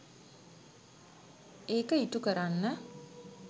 ඒක ඉටු කරන්න.